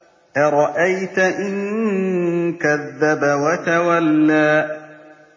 أَرَأَيْتَ إِن كَذَّبَ وَتَوَلَّىٰ